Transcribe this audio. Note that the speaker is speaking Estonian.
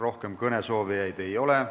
Rohkem kõnesoovijaid ei ole.